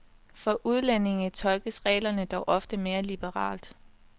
For udlændinge tolkes reglerne dog ofte mere liberalt.